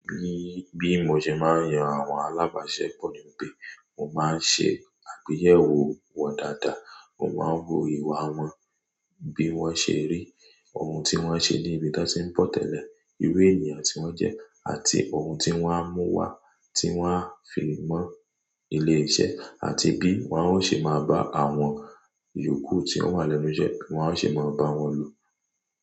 Bí mo ṣe máa ń yan àwọn alábàáṣepọ̀ ni pé mo máa ń ṣe àgbeyẹ̀wò wọn dáadáa, mo máa ń wo ìwà wọn, bí wọ́n ṣe rí, ohun tí wọ́n ṣe ní ibi tí wọ́n ti ń bọ́ tẹ́lẹ̀, irú ènìyàn tí wọ́n jẹ́ àti ohun tí wọ́n á mú wá tí wọ́n á fi mọ ilé iṣẹ́ àti bí wọn ó ṣe máa bá àwọn yòókù tí ó wà lẹ́nu iṣẹ́, bi wọn ó ṣe máa bá wọn lò.